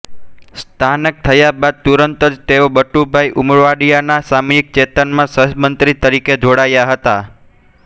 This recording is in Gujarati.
સ્નાતક થયા બાદ તુરંત જ તેઓ બટુભાઈ ઉમરવાડિયાનાં સામયિક ચેતનમાં સહતંત્રી તરીકે જોડાયા હતા